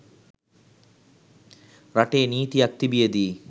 රටේ නීතියක්‌ තිබියදී